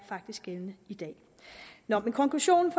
faktisk gældende i dag nå men konklusionen